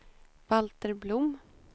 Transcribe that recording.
Valter Blom